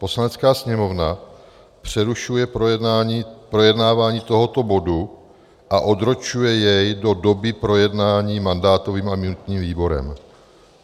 Poslanecká sněmovna přerušuje projednávání tohoto bodu a odročuje jej do doby projednání mandátovým a imunitním výborem.